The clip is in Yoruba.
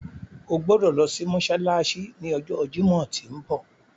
O gbodo lo si mósálásí ni ọjọ Jimọ ti nbọ.